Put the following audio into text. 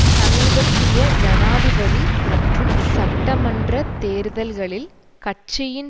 சமீபத்திய ஜனாதிபதி மற்றும் சட்டமன்ற தேர்தல்களில் கட்சியின்